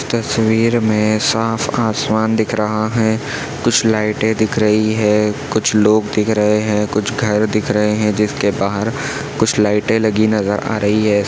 तस्वीर में साफ़ आसमान दिख रहा हैं कुछ लाइटे दिख रही हैं कुछ लोग दिख रहे हैं कुछ घर दिख रहे हैं जिसके बाहर कुछ लाइटे लगी नज़र आ रही हैं।